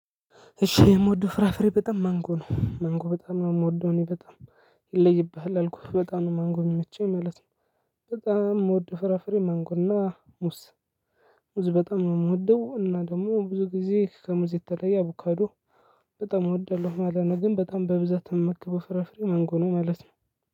እሺ የምወደው ፍራፍሬ በጣም ማንጎ ነው ማንጎ በጣም ነው ምወደው እኔ በጣም ይለይብሃል አልኩህ በጣም ነው ማንጎ ሚመቸኝ ማለት ነው። በጣም ምወደው ፍራፍሬ ማንጎ እና ሙስ። ሙዝ በጣም ነው ምወደው እና ደግሞ ብዙ ጊዜ ከሙዝ የተለየ አቦካዶ። በጣም እወዳለሁ ማለት ነው። ግን በጣም በብዛት እምመገበው ፍራፍሬ ማንጎ ነው ማለት ነው።